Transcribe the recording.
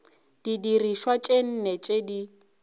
didirišwa tše nne tše di